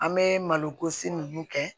An bɛ malokosi ninnu kɛ